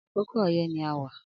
Akókó ọyẹ ni áwá